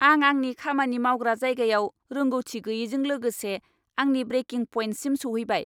आं आंनि खामानि मावग्रा जायगायाव रोंग'थि गैयैजों लोगोसे आंनि ब्रेकिं पइन्टसिम सौहैबाय।